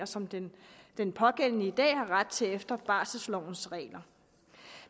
som den den pågældende i dag har ret til efter barselslovens regler